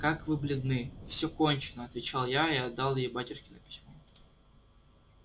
как вы бледны всё кончено отвечал я и отдал ей батюшкино письмо